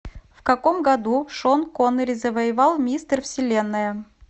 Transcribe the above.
в каком году шон коннери завоевал мистер вселенная